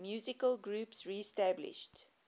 musical groups reestablished